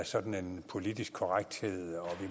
sådan en politisk korrekthed